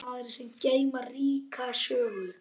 Staðir sem geyma ríka sögu.